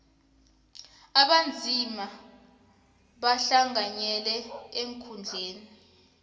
abanzima bahlanganyele eenkhundleni